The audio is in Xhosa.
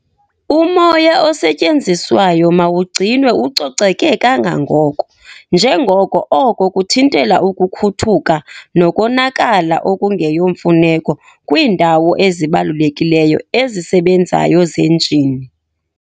Umoya osetyenziswayo mawugcinwe ucoceke kangangoko, njengoko oko kuthintela ukukhuthuka nokonakala okungeyomfuneko kwiindawo ezibalulekileyo ezisebenzayo zenjini.